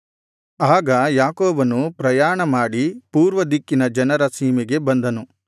ಆಗ ಯಾಕೋಬನು ಪ್ರಯಾಣ ಮಾಡಿ ಪೂರ್ವ ದಿಕ್ಕಿನ ಜನರ ಸೀಮೆಗೆ ಬಂದನು